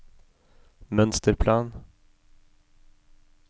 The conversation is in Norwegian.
mønsterplan